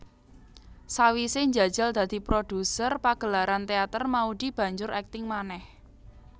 Sawise njajal dadi produser pagelaran teater Maudy banjur akting manéh